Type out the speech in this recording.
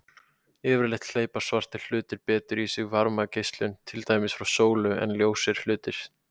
Yfirleitt gleypa svartir hlutir betur í sig varmageislun, til dæmis frá sólu, en ljósir hlutir.